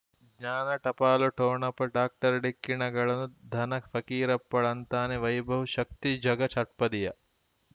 ಜ್ಞಾನ ಟಪಾಲು ಠೊಣಪ ಡಾಕ್ಟರ್ ಢಿಕ್ಕಿ ಣಗಳನು ಧನ ಫಕೀರಪ್ಪ ಳಂತಾನೆ ವೈಭವ್ ಶಕ್ತಿ ಝಗಾ ಷಟ್ಪದಿಯ